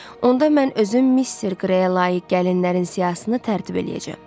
Onda mən özüm Mister Qreyə layiq gəlinlərin siyahısını tərtib eləyəcəm.